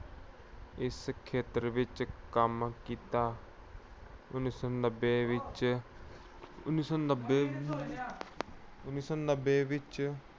ਇਸ ਖੇਤਰ ਵਿੱਚ ਕੰਮ ਕੀਤਾ। ਉਨੀ ਸੌ ਨੱਬੇ ਵਿੱਚ ਅਹ ਉਨੀ ਸੌ ਨੱਬੇ ਅਹ ਉਨੀ ਸੌ ਨੱਬੇ ਵਿੱਚ